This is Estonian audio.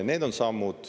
Need on sammud.